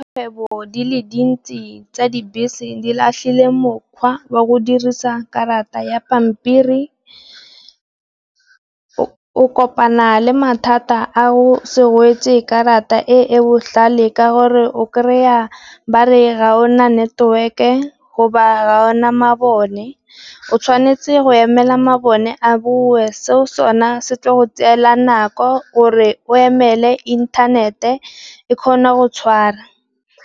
Kgwebo di le dintsi tsa dibese di latlhile mokgwa wa go dirisa karata ya pampiri, o kopana le mathata a o se gwetse karata e e botlhale ka gore o kry-a ba re ga gona network-e goba ga gona mabone. O tshwanetse go emela mabone a bue seo sone se tle go tseela nako gore o emele inthanete e kgona go tshwara,